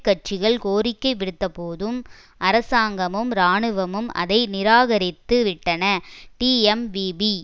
கட்சிகள் கோரிக்கை விடுத்த போதும் அரசாங்கமும் இராணுவமும் அதை நிராகரித்து விட்டன டீஎம்விபீ